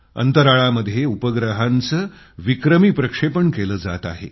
अंतराळामध्ये उपग्रहांचं विक्रमी प्रक्षेपण केलं जात आहे